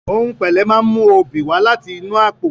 Ohùn pẹ̀lẹ́ máa ń mú oobi wá láti inú àpò.